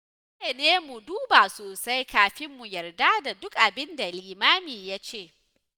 Dole ne mu duba sosai kafin mu yarda da duk abin da limami ya ce